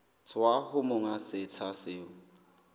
tswa ho monga setsha seo